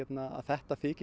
að þetta þyki